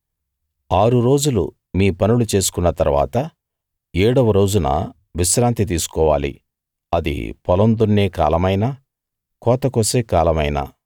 ఆరు రోజులు మీ పనులు చేసుకున్న తరువాత ఏడవ రోజున విశ్రాంతి తీసుకోవాలి అది పొలం దున్నే కాలమైనా కోత కోసే కాలమైనా